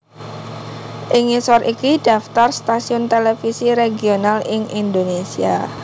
Ing ngisor iki daftar stasiun televisi regional ing Indonésia